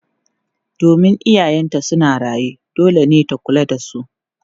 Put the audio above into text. Domin iyayenta suna raye, dole ne ta kula da su.